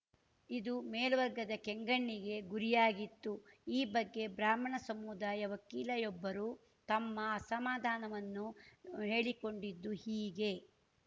ಇದು ಮೇಲ್ವರ್ಗದ ಕೆಂಗಣ್ಣಿಗೆ ಗುರಿಯಾಗಿತ್ತು ಈ ಬಗ್ಗೆ ಬ್ರಾಹ್ಮಣ ಸಮುದಾಯ ವಕೀಲಯೊಬ್ಬರು ತಮ್ಮ ಅಸಮಾಧಾನವನ್ನು ಹೇಳಿಕೊಂಡಿದ್ದು ಹೀಗೆ